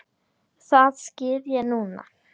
Það skil ég núna.